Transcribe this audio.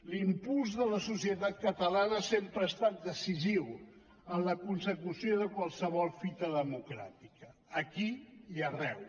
l’impuls de la societat catalana sempre ha estat decisiu en la consecució de qualsevol fita democràtica aquí i arreu